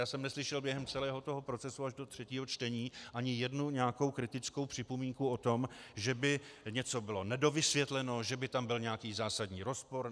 Já jsem neslyšel během celého toho procesu až do třetího čtení ani jednu nějakou kritickou připomínku o tom, že by něco bylo nedovysvětleno, že by tam byl nějaký zásadní rozpor.